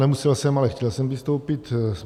Nemusel jsem, ale chtěl jsem vystoupit.